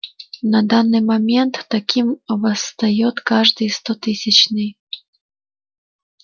на данный момент таким восстаёт каждый стотысячный